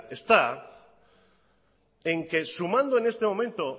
está en que sumando en este momento